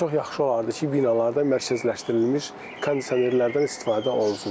Və çox yaxşı olardı ki, binalarda mərkəzləşdirilmiş kondisionerlərdən istifadə olunsun.